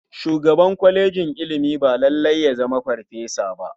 Shugaban kwalejin ilimi ba lalai ya zama farfesa ba.